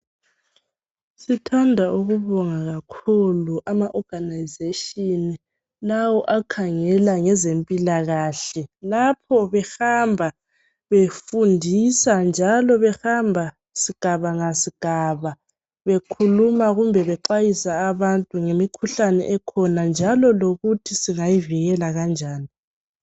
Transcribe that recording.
Sithanda ukubonga kakhulu ama organization lawo akhangela ngezempilakahle, lapho behamba befundisa njalo behamba ngasigaba ngasigaba bekhuluma kumbe bexwayisa abantu ngemikhuhlane ekhona njalo lokuthi singayivikela kanjani.